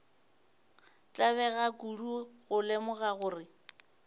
tlabega kudu go lemoga gore